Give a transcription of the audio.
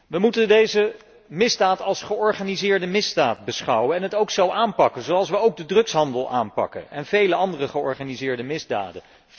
We moeten deze misdaad als georganiseerde misdaad beschouwen en het ook zo aanpakken, zoals we ook de drugshandel aanpakken en vele andere georganiseerde misdaden.